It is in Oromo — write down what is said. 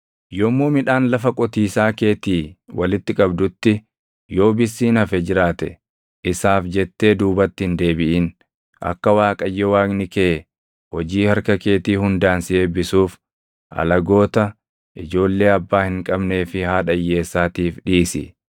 Yommuu midhaan lafa qotiisaa keetii walitti qabdutti yoo bissiin hafe jiraate isaaf jettee duubatti hin deebiʼin; akka Waaqayyo Waaqni kee hojii harka keetii hundaan si eebbisuuf alagoota, ijoollee abbaa hin qabnee fi haadha hiyyeessaatiif dhiisi.